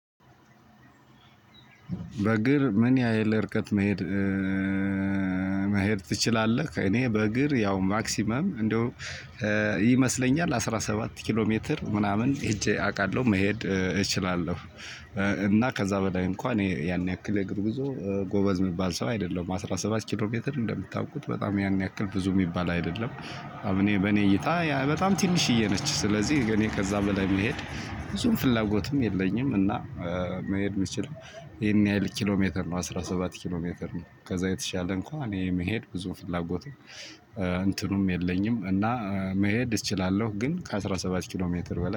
በእግር ምን ያህል ርቀት መሄድ መሄድ ትችላለህ? እኔ በእግር ያው ማክሲመም እንደው ይመስለኛል አስራ ሰባት ኪሎ ሜትር ምናምን ሄጄ አውቃለሁ መሄድ እችላለሁ። እና ከዛ በላይ እንኳን እኔ ያን ያክል እግር ጉዞ ጎበዝ የሚባል ሰው አይደለም አስራ ሰባት ኪሎ ሜትር እንደምታውቁት በጣም ያን ያክል ብዙ የሚባል አይደለም። እኔ በኔ እይታ በጣም ትንሽዬ ነች ስለዚህ እኔ ከዛ በላይ መሄድ ብዙም ፍላጎትም የለኝም። እና መሄድ ምችል ይሄን ያህል ኪሎ ሜትር ነው አስራ ሰባት ኪሎ ሜትር ነው። ከዛ የተሻለ እንኳን እኔ መሄድ ብዙም ፍላጎት እንትኑም የለኝም። እና መሄድ እችላለውኝ ግን ከአስራ ሰባት ኪሎሜትር በላይ